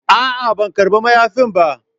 A'a, ban karba mayafin ba,